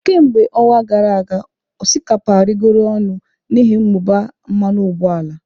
Kemgbe ọnwa gara aga, osikapa arịgoro ọnụ n'ihi mmụba mmanụ ụgbọala.